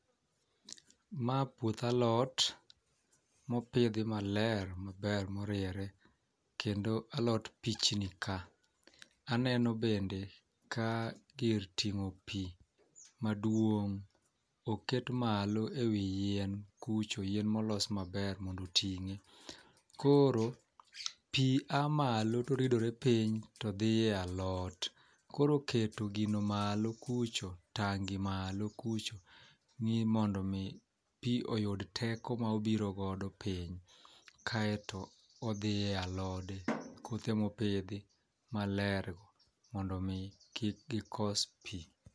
Ma puoth alot mopidhi maler maber moriere kendo alot pichni ka .Aneno bende ka gir ting'o pii maduong' oket malo ewi yien kucho yien molos maber mondo oting'e. Koro pii aa malo toridore piny todhi e alot. Koro keto gino malo kucho tangi malo kucho ni mondo mi pii oyud teko ma obiro godo piny kaeto odhi e alod kothe mopidhi malergo mondo mi kik gikos pii.